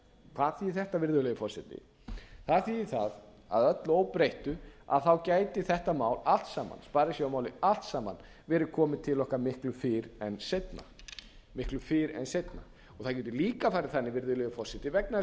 hvað þýðir þetta virðulegur forseti það þýðir það að að öllu óbreyttu gæti þetta mál allt saman sparisjóðamálið allt saman verið komið til okkar miklu fyrr en seinna það getur líka farið þannig virðulegur forseti vegna þess að við